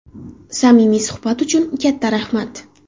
Samimiy suhbat uchun katta rahmat!